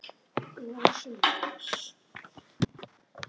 Það var eitthvað vitnað í þig.